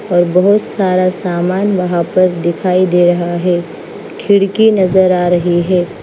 और बहुत सारा सामान वहां पर दिखाई दे रहा है खिड़की नजर आ रही है।